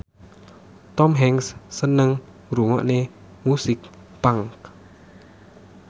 Tom Hanks seneng ngrungokne musik punk